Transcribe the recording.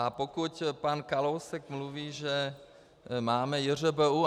A pokud pan Kalousek mluví, že máme JŘBU.